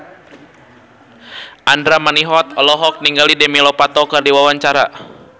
Andra Manihot olohok ningali Demi Lovato keur diwawancara